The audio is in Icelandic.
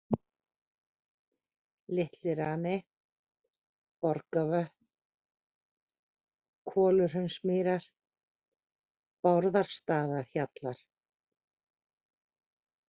Litli-Rani, Borgavötn, Koluhraunsmýrar, Bárðarstaðahjallar